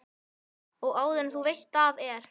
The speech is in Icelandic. Og áður en þú veist af er